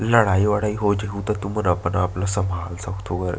लड़ाई वड़ाई हो जहु त तुमन अपन आप ल संभाल सकथव ओघर--